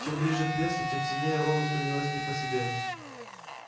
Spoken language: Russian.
чем ближе к лесу тем сильнее рону становилось не по себе